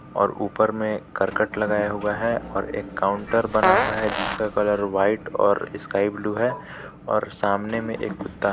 और ऊपर में करकट लगाया हुआ है और एक काउंटर बना हुआ है जिसका कलर व्हाइट और स्काई ब्लू है और सामने में एक कूत्ता है.